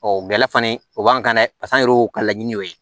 Ɔ gɛlɛ fan o b'an kan dɛ paseke an yɛrɛ y'o ka laɲini o ye